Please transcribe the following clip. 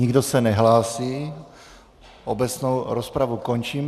Nikdo se nehlásí, obecnou rozpravu končím.